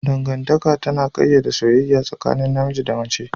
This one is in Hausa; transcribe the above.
Dangantaka tana ƙayyade soyayya tsakanin namiji da mace